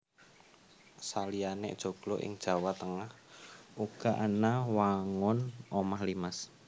Saliyané joglo ing Jawa Tengah uga ana wangun omah limas